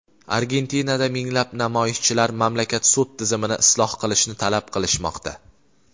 Argentinada minglab namoyishchilar mamlakat sud tizimini isloh qilishni talab qilishmoqda.